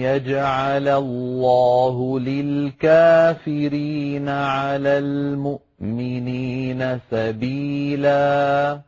يَجْعَلَ اللَّهُ لِلْكَافِرِينَ عَلَى الْمُؤْمِنِينَ سَبِيلًا